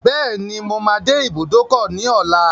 Bẹ́ẹ̀ni, mo máa dé ibùdókọ̀ ní ọlá.